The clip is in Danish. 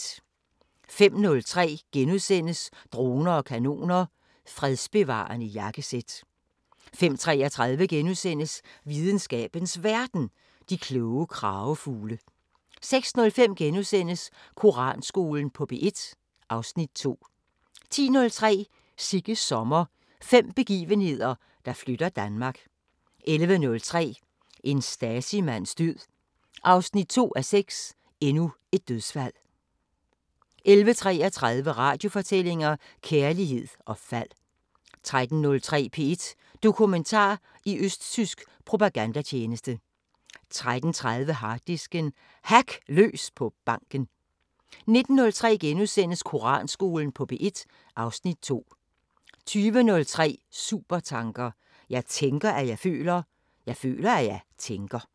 05:03: Droner og kanoner: Fredsbevarende jakkesæt * 05:33: Videnskabens Verden: De kloge kragefugle * 06:05: Koranskolen på P1 (Afs. 2)* 10:03: Sigges sommer – fem begivenheder, der flytter Danmark 11:03: En Stasi-mands død 2:6: Endnu et dødsfald 11:33: Radiofortællinger: Kærlighed og fald 13:03: P1 Dokumentar: I østtysk propagandatjeneste 13:30: Harddisken: Hack løs på banken 19:03: Koranskolen på P1 (Afs. 2)* 20:03: Supertanker: Jeg tænker, at jeg føler – Jeg føler, at jeg tænker